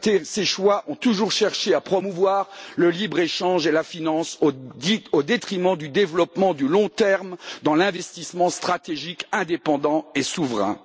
Ses choix ont toujours cherché à promouvoir le libre échange et la finance au détriment du développement du long terme dans l'investissement stratégique indépendant et souverain.